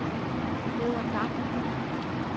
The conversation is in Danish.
Peder Dam